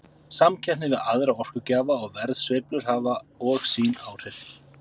Samkeppni við aðra orkugjafa og verðsveiflur hafa og sín áhrif.